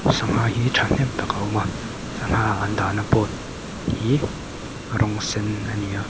sangha hi ṭhahnem tak a awm a sangha an dahna board hi rawng sen ani a.